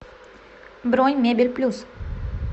бронь мебель плюс